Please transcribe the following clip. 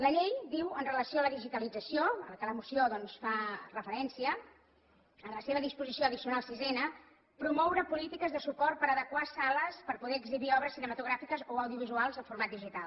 la llei diu amb relació a la digitalització a la qual la moció doncs fa referència en la seva disposició addicional sisena promoure polítiques de suport per a adequar sales per a poder exhibir obres cinematogràfiques o audiovisuals en format digital